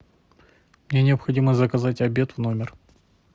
мне необходимо заказать обед в номер